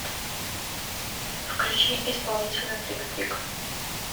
включи исполнителя трик трик